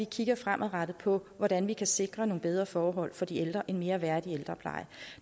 kigger fremadrettet på hvordan vi kan sikre nogle bedre forhold for de ældre en mere værdig ældrepleje